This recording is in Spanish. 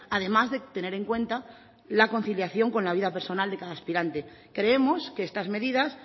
además de tener en cuenta la conciliación con la vida personal de cada aspirante creemos que estas medidas